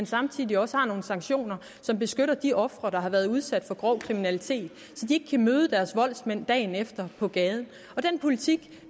samtidig også har nogle sanktioner som beskytter de ofre der har været udsat for grov kriminalitet så de ikke kan møde deres voldsmænd dagen efter på gaden den politik